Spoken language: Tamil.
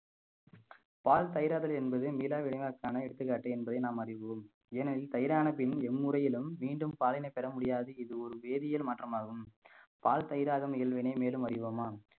பால் தயிராதல் என்பது மீளாவினைக்கன எடுத்துக்காட்டு என்பதை நாம் அறிவோம் ஏனெனில் தயிரான பின் எம்முறையிலும் மீண்டும் பாலினை பெற முடியாது இது ஒரு வேதியியல் மாற்றமாகும் பால் தயிராகும் இயல்வினை மேலும் அறிவோமா